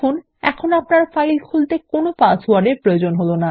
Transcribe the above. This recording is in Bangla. এখন আপনার ফাইল খোলার জন্য কোনো পাসওয়ার্ড এর প্রয়োজন হলো না